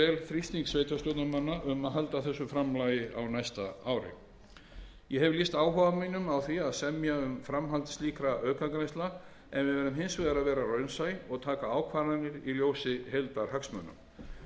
þrýsting sveitarstjórnarmanna um að halda þessu framlagi á næsta ári ég hef lýst áhuga mínum á því að semja um framhald slíkra aukagreiðslna en við verðum hins vegar að vera raunsæ og taka ákvarðanir í ljósi heildarhagsmuna